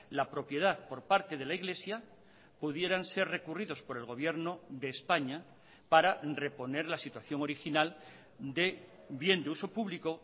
la propiedad por parte de la iglesia pudieran ser recurridos por el gobierno de españa para reponer la situación original de bien de uso público